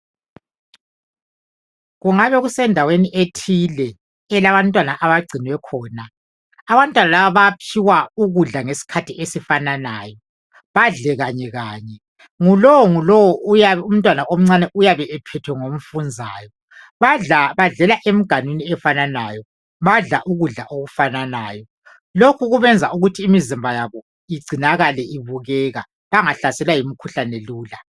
kungabe kusendaweni ethile elabantwana abagcinwe khona abantwana laba bayaphiwa ukudla ngesikhathi esifananayo badle kanye kanye ngulowo ngulowo uyabe umntwana omncane uyabe ephethwe ngomfunzayo badlela emganwini efananayo badla ukudla okufananayo lokhu kubenza ukuthi imizimba yabo igcinakale ibukeka bangahlaselwa yimikhuhlane lula